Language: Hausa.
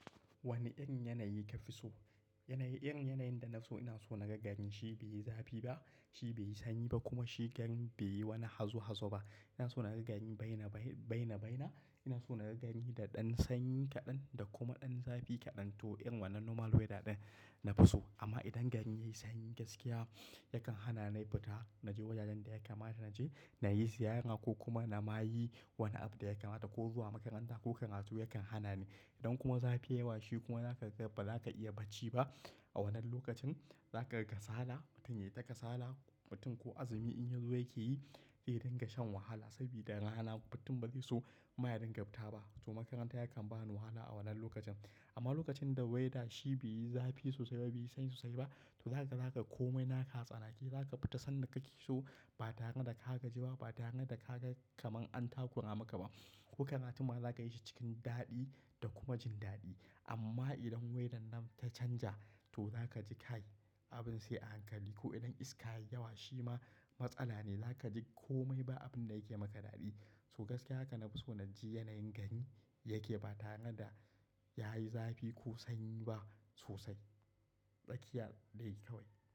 Wani irin yanayi ka fi so? Irin yanayin da na so ina so na ga gani shi bai yi zafi ba, shi bai yi sanyi ba kuma shi gan bai yi wani hazo-hazo ba. Ina so na ga gari baina-baina, ina so na ga gari da ɗan sanyi kaɗan da kuma ɗan zafi kaɗan. To, irin wannan normal weather ɗin na fi so. Amma idan gari yayi sanyi gaskiya yakan hana ni fita. Naje wajajen da ya kamata naje, nayi ziyara ko kuma na mayi wani abu da ya kamata ko zuwa makaranta ko karatu yakan hana ni. Idan kuma zafi yai yawa shi kuma haka, ba za ka iya bacci ba a wannan lokacin. Za ka kasala, mutum ya yi ta kasala. Mutum ko azumi in yazo yake yi zai dinga shan wahala saboda rana. Mutum ba zai so maya dingan fita ba. To, makaranta yakan ba ni wahala a wannan lokacin. Amma lokacin da weather shi bai yi zafi sosai ba, bai yi sanyi sosai ba, to zaka-zaka komai naka tsanake. Zaka fita sanda kake so ba tare da ka gaji ba, ba tare da ka ga kaman an takura maka ba. Ko karatu ma za ka yi shi cikin daɗi da kuma jin daɗi. Amma idan weather nan ta canja to za ka ji kai abin sai a hankali. Ko idan iska yayi yawa shi ma matsala ne. Za ka ji komai ba abin da yake maka daɗi. So gaskiya haka na fi so na ji yanayin gari yake ba tare da yayi zafi ko sanyi ba sosai. Ɗakina dai kawai.